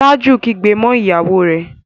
Taju kígbe mọ ìyàwó rẹ